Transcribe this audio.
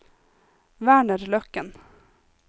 Werner Løkken